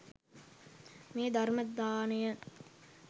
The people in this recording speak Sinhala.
මේ ධර්ම දානය